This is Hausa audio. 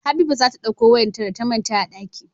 Habiba zata ɗakko wayar ta da ta manta a ɗaki